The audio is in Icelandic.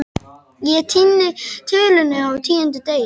Ég týni tölunni á tíunda degi